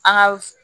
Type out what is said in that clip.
An ka